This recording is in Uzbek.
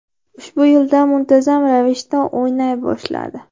Ushbu yildan muntazam ravishda o‘ynay boshladi.